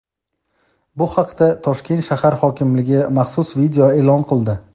Bu haqda Toshkent shahar hokimligi maxsus video e’lon qildi.